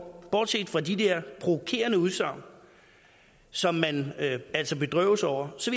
bortset fra de der provokerende udsagn som man altså bedrøves over så